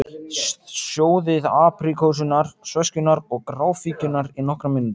Sjóðið apríkósurnar, sveskjurnar og gráfíkjurnar í nokkrar mínútur.